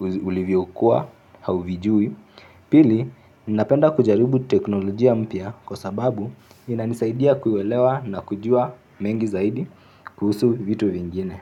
ulivyokuwa hauvijui. Pili, ninapenda kujaribu teknolojia mpya kwa sababu inanisaidia kuelewa na kujua mengi zaidi kuhusu vitu vingine.